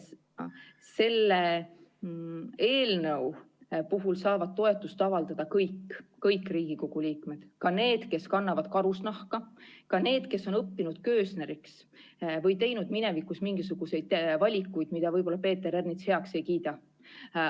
Selle eelnõu puhul saavad toetust avaldada kõik Riigikogu liikmed – ka need, kes kannavad karusnahka, ka need, kes on õppinud köösneriks või teinud minevikus mingisuguseid valikuid, mida võib-olla Peeter Ernits heaks ei kiida.